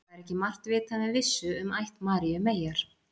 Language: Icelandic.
það er ekki margt vitað með vissu um ætt maríu meyjar